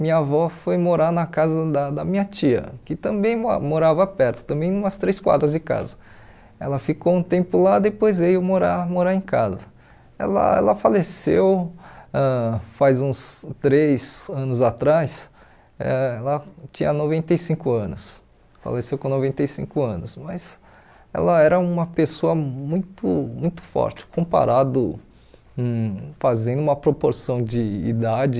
minha avó foi morar na casa da da minha tia que também mo morava perto também umas três quadras de casa ela ficou um tempo lá depois veio morar morar em casa ela ela faleceu ãh faz uns três anos atrás ãh ela tinha noventa e cinco anos faleceu com noventa e cinco anos mas ela era uma pessoa muito muito forte comparado com fazendo uma proporção de idade